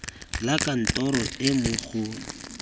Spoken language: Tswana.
la kantoro e mo go